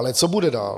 Ale co bude dál?